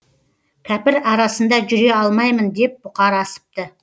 кәпір арасында жүре алмаймын деп бұқар асыпты